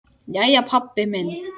Jæja, pabbi minn.